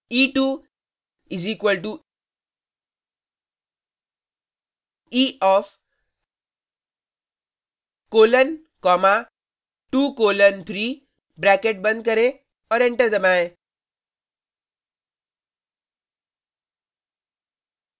e2 = e of colon comma 2 colon 3 bracket बंद करें और एंटर दबाएं